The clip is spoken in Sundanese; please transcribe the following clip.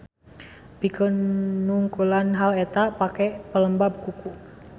Pikeun nungkulan hal eta pake pelembab kuku.